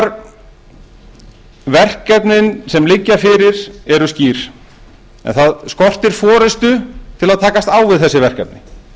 íslendingar verkefnin sem liggja fyrir eru skýr en það skortir forustu til að takast á við þessi verkefni